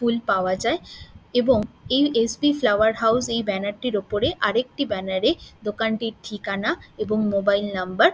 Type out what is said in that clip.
ফুল পাওয়া যায় এবং এই এস.বি. ফ্লাওয়ার হাইজ এই ব্যানার এর উপরে আরেকটি ব্যানার এ দোকানটির ঠিকানা এবং মোবাইল নম্বর --